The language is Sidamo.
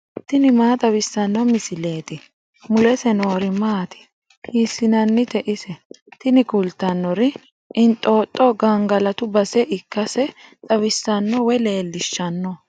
tini maa xawissanno misileeti ? mulese noori maati ? hiissinannite ise ? tini kultannori inxooxxo gangalatu base ikkase xawissanno woy leellishshanno.